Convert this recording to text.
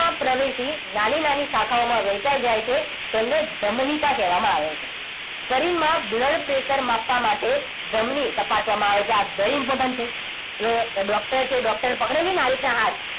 પ્રવેશી નાની નાની શાખાઓમાં વહેંચાઈ જાય છે. તેને ધમનિકા કહેવામાં આવે છે. શરીરમાં blood pressure માપવા માટે ધમની તપાસવામાં આવે છે આ very important છે. જે doctor છે એ doctor પકડે છે ને આ રીતના હાથ!